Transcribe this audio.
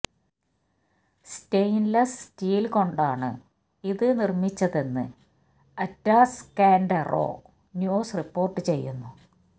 stainless steel കൊണ്ടാണ് ഇത് നിർമ്മിച്ചതെന്ന് അറ്റാസ്കാഡെറോ ന്യൂസ് റിപ്പോർട്ട് ചെയ്യുന്നു